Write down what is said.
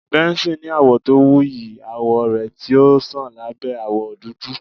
Benson ni awọ to wuyi awọ rẹ ti o ṣan labẹ awọ dudu